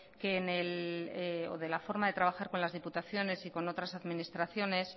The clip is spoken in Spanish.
que la forma de trabajar con las diputaciones y con otras administraciones